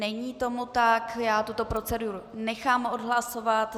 Není tomu tak, já tuto proceduru nechám odhlasovat.